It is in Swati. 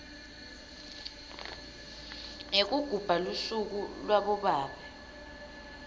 yekugubha lusuku labobabe